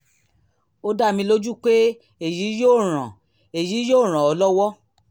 ó dá mi lójú pé èyí yóò ràn èyí yóò ràn ọ́ lọ́wọ́